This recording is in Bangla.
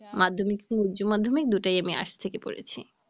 মাধ্যমিক এবং উচ্চমাধ্যমিক দুটোই আমি Arts থেকে পড়েছি।